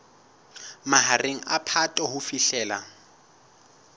mahareng a phato ho fihlela